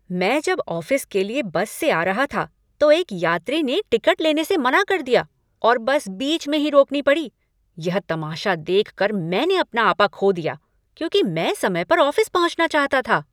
मैं जब ऑफिस के लिए बस से आ रहा था, तो एक यात्री ने टिकट लेने से मना कर दिया और बस बीच में ही रोकनी पड़ी। यह तमाशा देखकर मैंने अपना आपा खो दिया, क्योंकि मैं समय पर ऑफिस पहुँचना चाहता था।